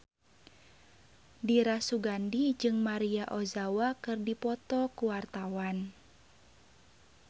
Dira Sugandi jeung Maria Ozawa keur dipoto ku wartawan